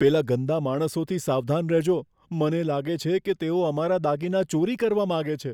પેલા ગંદા માણસોથી સાવધાન રહેજો. મને લાગે છે કે તેઓ અમારા દાગીના ચોરી કરવા માગે છે.